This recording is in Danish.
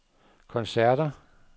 koncerter